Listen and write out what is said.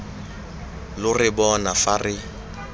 lo re bona fa re